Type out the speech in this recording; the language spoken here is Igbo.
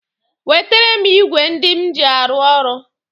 Wetere m ịgwe ndị m ji arụ ọrụ!